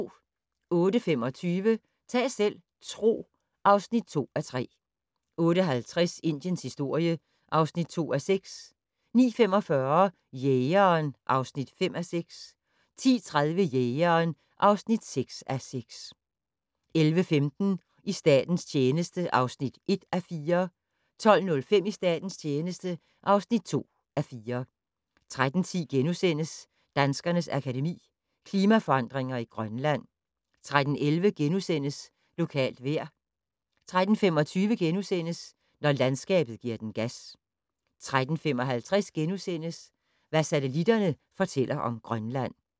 08:25: Ta' selv tro (2:3) 08:50: Indiens historie (2:6) 09:45: Jægeren (5:6) 10:30: Jægeren (6:6) 11:15: I statens tjeneste (1:4) 12:05: I statens tjeneste (2:4) 13:10: Danskernes Akademi: Klimaforandringer i Grønland * 13:11: Lokalt vejr * 13:25: Når landskabet gi'r den gas * 13:55: Hvad satellitterne fortæller om Grønland *